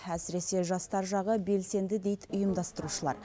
әсіресе жастар жағы белсенді дейді ұйымдастырушылар